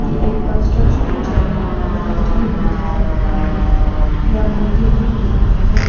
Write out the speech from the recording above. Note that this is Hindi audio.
एक कंस्ट्रक्शन में चल रहा कम्युनिटी बिल्डिंग जैसा दिख रहा है या मंदिर भी हो सकता है।